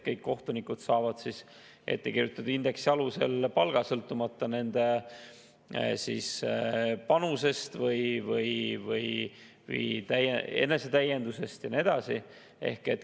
Kõik kohtunikud saavad ette kirjutatud indeksi alusel palga, sõltumata nende panusest või enesetäiendusest ja nii edasi.